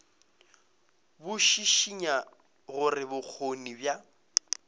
bo šišinya gore bokgoni bja